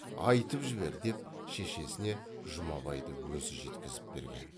айтып жібер деп шешесіне жұмабайды өзі жеткізіп берген